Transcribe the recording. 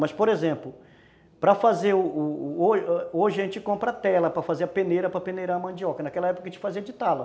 Mas, por exemplo, para fazer o o ouro, a gente compra a tela para fazer a peneira, para peneirar a mandioca, naquela época a gente fazia de tala.